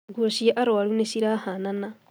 Nguo cia arũaru nĩ cira hanana